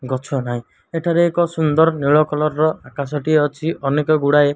ଗଛ ନାହିଁ ଏଠାରେ ଏକ ସୁନ୍ଦର ନୀଳ କଲର୍ ର ଆକାଶ ଟିଏ ଅଛି ଅନେକ ଗୁଡାଏ --